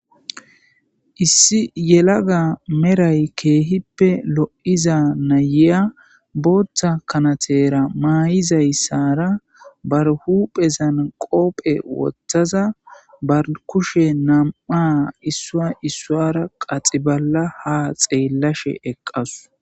Issi yelagga meray kehippe lo'zza nayiyya boththa kanthera mayizayssara baro huphezan qophe wothaza ba kushe namma' issuwa issuwara qaxiballa ha xelashe eqassu.